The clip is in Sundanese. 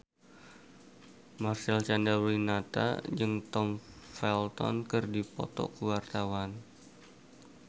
Marcel Chandrawinata jeung Tom Felton keur dipoto ku wartawan